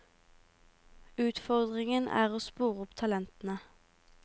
Utfordringen er å spore opp talentene.